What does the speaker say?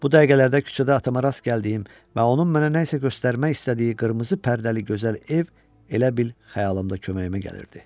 Bu dəqiqələrdə küçədə atama rast gəldiyim və onun mənə nəsə göstərmək istədiyi qırmızı pərdəli gözəl ev elə bil xəyalımda köməyimə gəlirdi.